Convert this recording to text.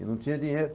E não tinha dinheiro.